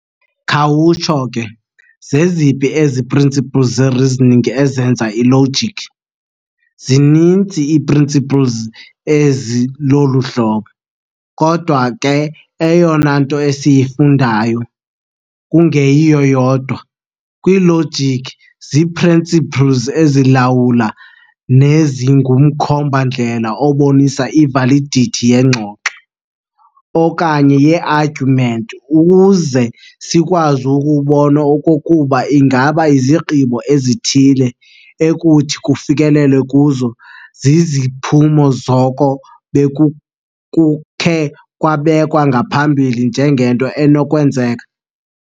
Khawutsho ke, zeziphi ezi principles zereasoning ezenza i-logic? zininzi ii-principles ezi lolu hlobo, kodwa ke eyona nto esiyifundayo, kungeyiyo yodwa, kwi-logic zii-principles ezilawula nezingumkhomba-ndlela obonisa i-validity yeengxoxo, okanye yee-arguments ukuze sikwazi ukubona okokuba ingaba izigqibo ezithile ekuthi kufikelelwe kuzo ziziziphumo zoko bekukukhe kwabekwa ngaphambili njengento enokwenzeka.